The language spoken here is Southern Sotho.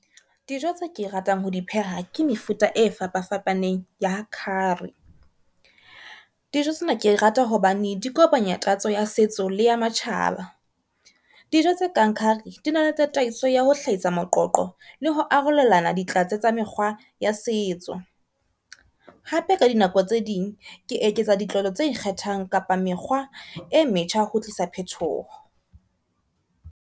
Dijo tse ke ratang ho di pheha ke mefuta e fapafapaneng ya curry. Dijo tsena ke rata hobane di kopanya tatso ya setso le ya matjhaba. Dijo tse kang curry di na le tataiso ya ho hlahisa moqoqo le ho arolelana ditlatse tsa mekgwa ya setso. Hape ka dinako tse ding ke eketsa ditlolo tse ikgethang kapa mekgwa e metjha ho tlisa phethoho.